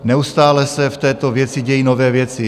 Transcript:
Neustále se v této věci dějí nové věci.